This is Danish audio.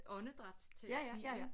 Åndedrætsterapi